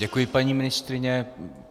Děkuji, paní ministryně.